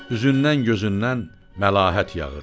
Üzündən gözündən məlahət yağırdı.